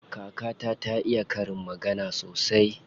Kakata ta iya karin magana sosai.